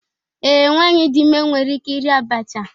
Ee, nwanyị dị ime nwere ike iri abacha.